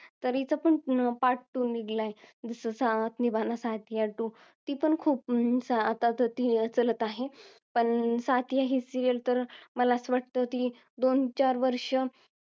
तरी त्याचा पण part two निघालाय जसं साथ निभाना साथिया two ती पण आता खूप अं चालत आहे पण साथीया ही ही serial तर मला असं वाटत ती दोन चार वर्ष